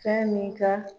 Fɛn min ka